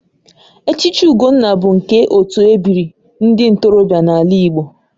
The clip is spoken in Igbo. Echichi Ugonna bụ nke otu ebiri ndị ntorobịa n'ala Igbo